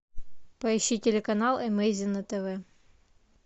поищи телеканал эмейзи на тв